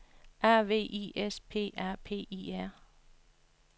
A V I S P A P I R